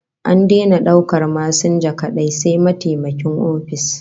An daina daukar masinja kadai, sai mataimakin ofis